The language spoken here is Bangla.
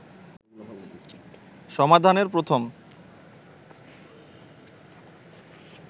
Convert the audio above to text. সমাধানের প্রথম